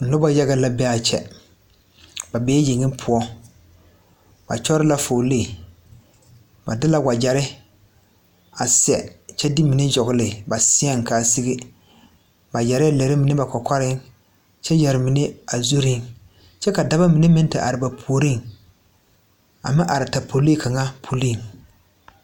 Nobɔ yaga la be aa kyɛ ba bee yeŋe poɔ ba kyɔre la fuolee ba de la wagyɛrre a sɛ kyɛ de mine yɔgle ba seɛŋ ka a wa sige ba yɛrɛɛ lɛre mine ba kɔkɔreŋ kyɛ yɛre mine a zurreŋ kyɛ ka daba mine meŋ te are ba puoriŋ a meŋ are tapoliŋ kaŋa puliŋ.